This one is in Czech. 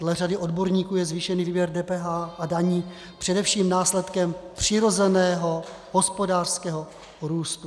Dle řady odborníků je zvýšený výběr DPH a daní především následkem přirozeného hospodářského růstu.